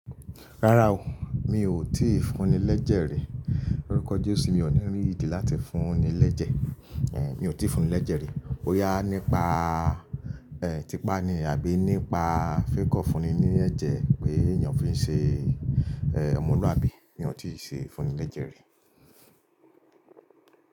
Rárá o, mi ò tí ì fún ni lẹ́jẹ̀ rí. Loruko jesu, mi ò ní rí ìdí láti fún ni lẹ́jẹ̀. Èé, mi ò tí ì fún ni lẹ́jẹ̀ rí. Bóyá nípa, ẹ́, típa ni àbí nípa fake of funni ní ẹ̀jẹ̀ pé èèyàn fi ń ṣe, ẹ́, ọmọlúàbí. Mi ò tí ì ṣe fún ni lẹ́jẹ̀ rí.